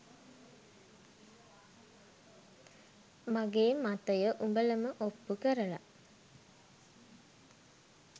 මගේ මතය උඹලම ඔප්පු කරල